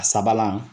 A sabanan